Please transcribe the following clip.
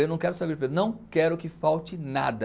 Eu não quero saber o preço, não quero que falte nada.